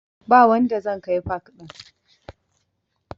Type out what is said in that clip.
Ba wanda zan kai pak ɗin